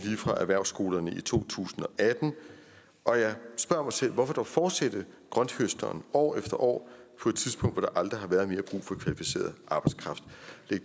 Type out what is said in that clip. fra erhvervsskolerne i to tusind og atten og jeg spørger mig selv hvorfor fortsætter grønthøsteren år efter år på et tidspunkt hvor der aldrig har været mere brug for kvalificeret arbejdskraft